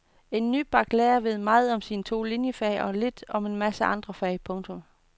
En nybagt lærer ved meget om sine to liniefag og lidt om en masse andre fag. punktum